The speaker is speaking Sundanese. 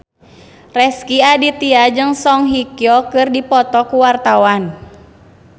Rezky Aditya jeung Song Hye Kyo keur dipoto ku wartawan